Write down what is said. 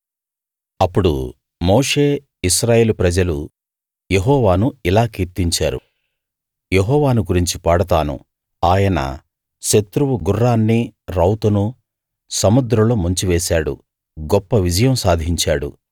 అప్పుడు మోషే ఇశ్రాయేలు ప్రజలు యెహోవాను ఇలా కీర్తించారు యెహోవాను గురించి పాడతాను ఆయన శత్రువు గుర్రాన్నీ రౌతునూ సముద్రంలో ముంచి వేశాడు గొప్ప విజయం సాధించాడు